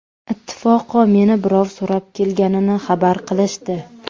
Ittifoqo meni birov so‘rab kelganini xabar qilishdi.